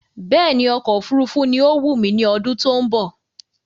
Bẹ́ẹ̀ni, ọkọ̀ òfurufú ni ọ wù mí ní ọdún tó ń bọ̀